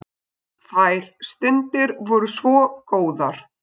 Þær stundir voru svo góðar.